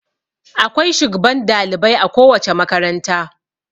Akwai shugban dalibai a kowace makaranta.